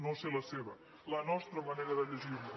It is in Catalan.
no sé la seva la nostra manera de llegir les